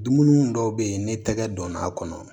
Dumuni dɔw be ye ni tɛgɛ donna a kɔnɔ